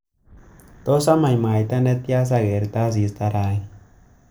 Tos amach mwaita netya sagerte asista rani